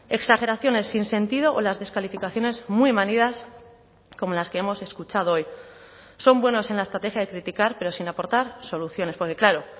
exageraciones sin sentido o las descalificaciones muy manidas como las que hemos escuchado hoy son buenos en la estrategia de criticar pero sin aportar soluciones porque claro